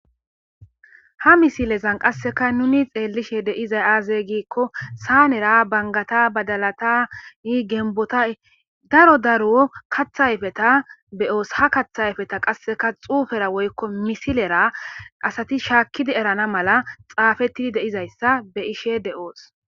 ha misilezan qasseka nuni xeellishe de'izay aaze giikko saanera bangata badalatai genbotay daro daro kathayfeta beyoos ha kaththayfeta qasseka xuufera woykko misilera asati shaakkidi erana mala xaafettidi deizayssa be ishe de7oos